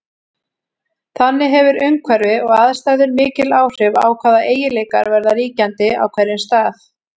Þannig hefur umhverfi og aðstæður mikil áhrif á hvaða eiginleikar verða ríkjandi á hverjum stað.